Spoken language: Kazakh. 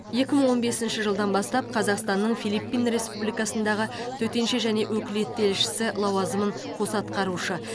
екі мың он бесінші жылдан бастап қазақстанның филиппин республикасындағы төтенше және өкілетті елшісі лауазымын қоса атқарушы